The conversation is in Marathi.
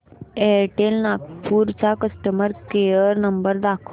एअरटेल नागपूर चा कस्टमर केअर नंबर दाखव